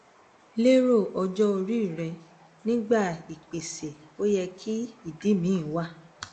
lero ojo ori re nigba ipese oye ki idi mi wa